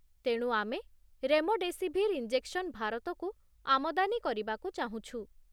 ତେଣୁ, ଆମେ remdesivir injection ଭାରତକୁ ଆମଦାନୀ କରିବାକୁ ଚାହୁଁଛୁ